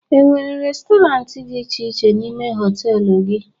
E nwere restọrant dị iche iche n'ime họtelu gị?